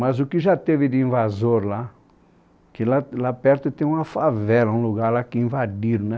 Mas o que já teve de invasor lá, que lá lá perto tem uma favela, um lugar lá que invadiram, né?